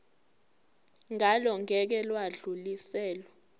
ngalo ngeke lwadluliselwa